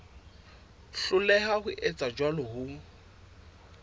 hloleha ho etsa jwalo ho